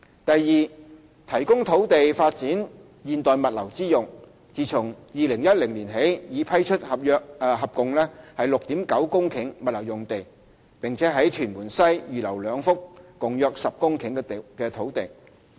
第二，提供土地作發展現代物流之用，自2010年起已批出合共 6.9 公頃物流用地，並於屯門西預留兩幅共約10公頃的土地。